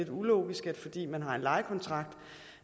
ulogisk at fordi man har en lejekontrakt